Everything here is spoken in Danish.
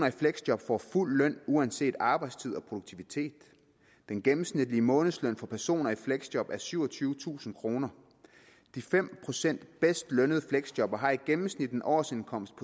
i fleksjob får fuld løn uanset arbejdstid og produktivitet den gennemsnitlige månedsløn for personer i fleksjob er syvogtyvetusind kroner de fem procent bedst lønnede fleksjobbere har i gennemsnit en årsindkomst